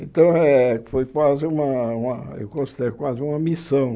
Então, eh eh foi quase uma uma eu considero quase missão.